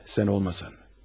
Evet, sən olmasan.